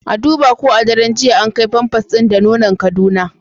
A duba ko a daren jiya an kai pampers din da nonan kaduna